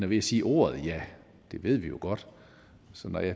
ved at sige ordet ja det ved vi jo godt så når